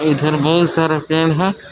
इधर बहुत सारा पेड़ है।